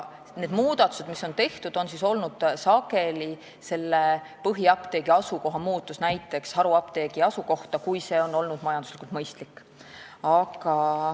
Tehtud muudatused on sageli tingitud põhiapteegi asukoha muutusest näiteks haruapteegi asukohta, kui see on olnud majanduslikult mõistlik.